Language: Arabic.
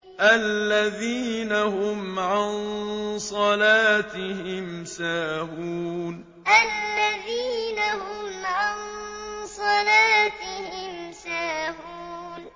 الَّذِينَ هُمْ عَن صَلَاتِهِمْ سَاهُونَ الَّذِينَ هُمْ عَن صَلَاتِهِمْ سَاهُونَ